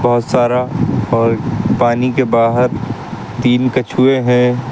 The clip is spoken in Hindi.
बहोत सारा और पानी के बाहर तीन कछुए हैं।